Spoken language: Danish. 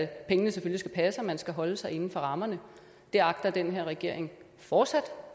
pengene selvfølgelig passe man skal holde sig inden for rammerne og det agter den her regering fortsat